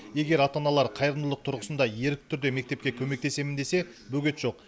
егер ата аналар қайырымдылық тұрғысында ерікті түрде мектепке көмектесемін десе бөгет жоқ